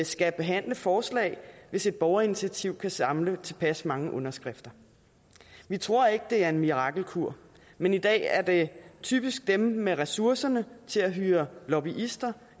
skal behandle forslag hvis et borgerinitiativ kan samle tilpas mange underskrifter vi tror ikke det er en mirakelkur men i dag er det typisk dem med ressourcerne til at hyre lobbyister